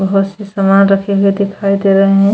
बहुत से सामान रखे हुए दिखाई दे रहे हैं।